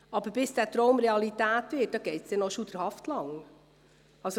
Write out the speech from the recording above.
Aber bis dieser Traum Realität wird, dauert es noch schauderhaft lange.